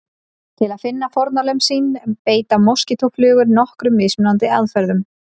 Til að finna fórnarlömb sín beita moskítóflugur nokkrum mismunandi aðferðum.